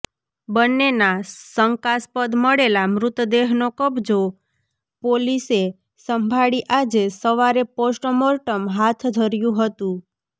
બન્નેના શંકાસ્પદ મળેલા મૃતદેહનો કબ્જો પોલીસે સંભાળી આજે સવારે પોસ્ટ મોર્ટમ હાથ ધર્યુ હતું